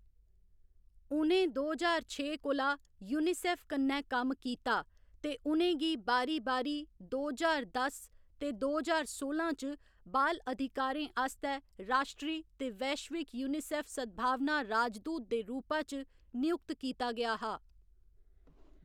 उ'नें दो ज्हार छे कोला यूनिसेफ कन्नै कम्म कीता ते उ'नें गी बारी बारी दो ज्हार दस ते दो ज्हार सोलां च बाल अधिकारें आस्तै राश्ट्री ते वैश्विक यूनिसेफ सद्भावना राजदूत दे रूपा च नयुक्त कीता गेआ हा।